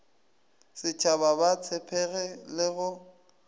setshaba ba tshepege le go